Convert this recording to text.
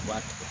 I b'a kɛ tan